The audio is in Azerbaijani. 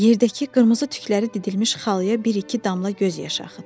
Yerdəki qırmızı tükləri didilmiş xalaya bir-iki damla göz yaşı axıtdı.